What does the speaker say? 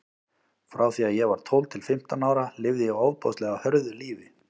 Frá því að ég var tólf til fimmtán ára lifði ég ofboðslega hörðu lífi.